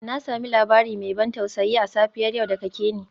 Na sami labari mai ban tausayi a safiyar yau daga Kenny.